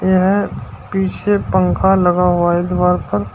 यहां पीछे पंखा लगा हुआ है दीवार पर।